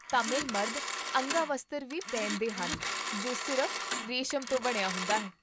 ਤਾਮਿਲ ਮਰਦ ਅੰਗਾਵਸਤਰ ਵੀ ਪਹਿਨਦੇ ਹਨ ਜੋ ਸਿਰਫ਼ ਰੇਸ਼ਮ ਤੋਂ ਬਣਿਆ ਹੁੰਦਾ ਹੈ